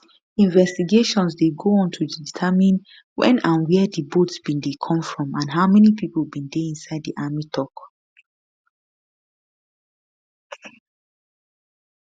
investigations dey go on to determine wen and wia di boat bin dey come from and how many pipo bin dey inside di army tok